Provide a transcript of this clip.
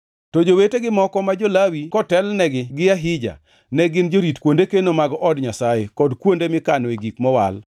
To jowetegi moko ma jo-Lawi, kotelnegi gi Ahija, ne gin jorit kuonde keno mag od Nyasaye kod kuonde mikanoe gik mowal.